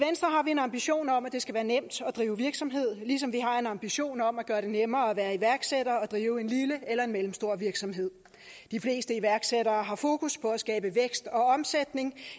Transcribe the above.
en ambition om at det skal være nemt at drive virksomhed ligesom vi har en ambition om at gøre det nemmere at være iværksætter og drive en lille eller en mellemstor virksomhed de fleste iværksættere har fokus på at skabe vækst og omsætning